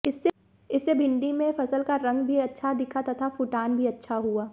इससे भिण्डी में फसल का रंग भी अच्छा दिखा तथा फूटान भी अच्छा हुआ